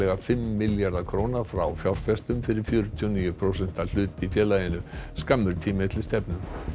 fimm milljarða króna frá fjárfestum fyrir fjörutíu og níu prósenta hlut í félaginu skammur tími er til stefnu